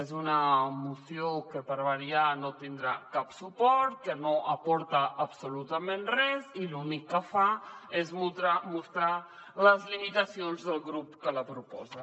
és una moció que per variar no tindrà cap suport que no aporta absolutament res i que l’únic que fa és mostrar les limitacions del grup que la proposa